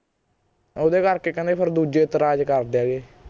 ਓਹਦੇ ਕਰਕੇ ਕਹਿੰਦੇ ਫੇਰ ਐਤਰਾਜ ਕਰਦੇ ਹੈਗੇ